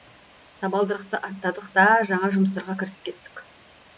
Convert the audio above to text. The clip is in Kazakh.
табалдырықты аттадық та жаңа жұмыстарға кірісіп кеттік